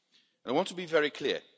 I want to be very clear.